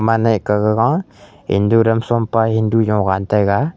anai kah gaga endu dam shompa endu jovan taiga.